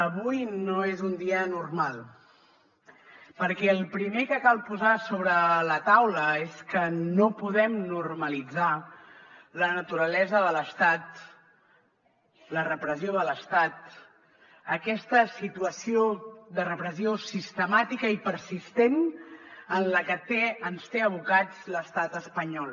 avui no és un dia normal perquè el primer que cal posar sobre la taula és que no podem normalitzar la naturalesa de l’estat la repressió de l’estat aquesta situació de repressió sistemàtica i persistent a la que ens té abocats l’estat espanyol